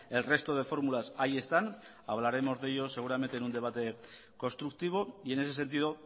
el resto de fórmulas ahí están hablaremos de ello seguramente en un debate constructivo y en ese sentido